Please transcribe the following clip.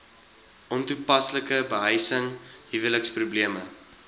ontoepaslike behuising huweliksprobleme